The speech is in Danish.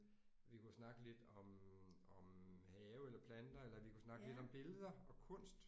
Vi kunne snakke lidt om om have eller planter eller vi kunne snakke lidt om billeder og kunst